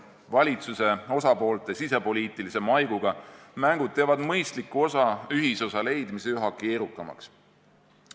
Valitsuse osapoolte sisepoliitilise maiguga mängud teevad mõistliku ühisosa leidmise üha keerukamaks.